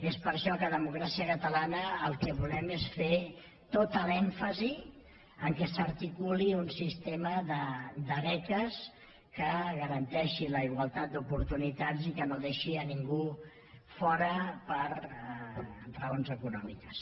és per això que democràcia catalana el que volem és fer tot l’èmfasi que s’articuli un sistema de beques que garanteixi la igualtat d’oportunitats i que no deixi ningú fora per raons econòmiques